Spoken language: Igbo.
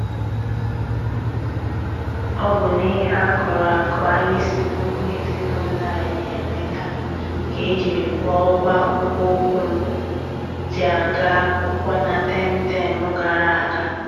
Ọ bụ n'ihe akụrụ akụ anyị si n'ugbo ezinụlọ anyị enweta ka e jiri kwụọ ụgwọ akpụkpọ ụkwụ m ji aga akwụkwọ na tem tem gara aga.